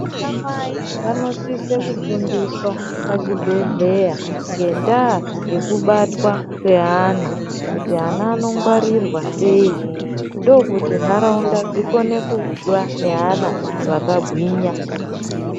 Ana mai vanosise kufundiswe pazvibhehleya ngendaya yekubatwa kweana kuti ana anokwarirwa sei ndokuti ndaraunda dzikone kuve neana akagwinya.